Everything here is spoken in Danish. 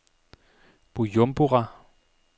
Bujumbura